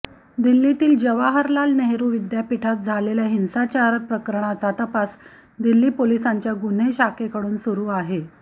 दिल्लीतील जवाहरलाल नेहरु विद्यापीठात झालेल्या हिंसाचार प्रकरणाचा तपास दिल्ली पोलिसांच्या गुन्हे शाखेकडून सुरु आहे